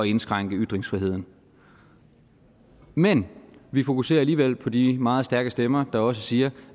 indskrænke ytringsfriheden men vi fokuserer alligevel på de meget stærke stemmer der også siger